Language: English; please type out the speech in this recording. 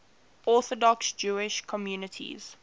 orthodox jewish communities